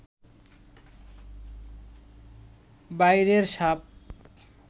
বাইরের সাপ